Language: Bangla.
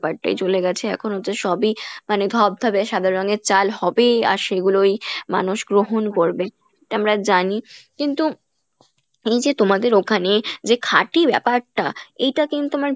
টাই চলে গেছে এখন হচ্ছে সবিই মানে ধবধবে সাদা রঙের চাল হবেই আর সেগুলোই মানুষ গ্রহণ করবে এটা আমরা জানি কিন্তু এইযে তোমাদের ওখানে যে খাঁটি ব্যপারটা এইটা কিন্তু আমার